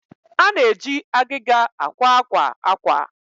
a na-eji agịga akwa akwa akwa